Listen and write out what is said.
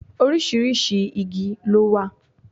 Oríṣiríṣi igi ló wà.